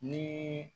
Ni